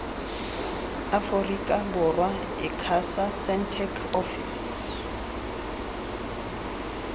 aforika borwa icasa sentech ofisi